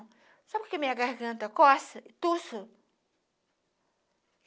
Sabe por que a minha garganta coça e tussu?